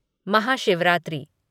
Mahashivratri